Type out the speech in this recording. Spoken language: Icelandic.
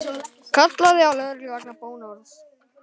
Kallaði á lögreglu vegna bónorðs